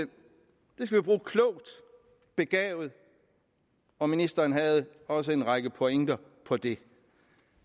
skal vi bruge klogt begavet og ministeren havde også en række pointer på det